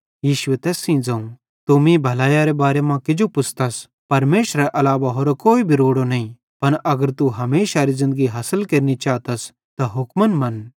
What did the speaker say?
यीशुए तैस सेइं ज़ोवं तू मीं भलैइये बारे मां किजो पुछ़तस परमेशरेरे अलावा होरो कोई भी रोड़ो नईं पन अगर तू हमेशारी ज़िन्दगी हासिल केरनि चातस त हुक्म मनन्